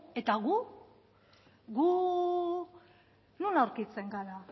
eta gu gu non aurkitzen gara